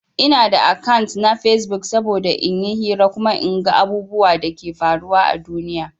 Ina da akant na Facebook saboda in yi hira kuma in gan abubwan Dake faruwa à duniya.